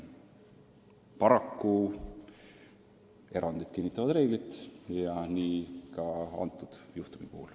Paraku erandid kinnitavad reeglit ja seda ka kõnealuse juhtumi puhul.